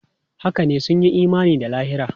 Haka ne, sun yi imani da lahira.